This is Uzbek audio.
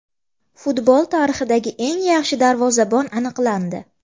Futbol tarixidagi eng yaxshi darvozabon aniqlandi.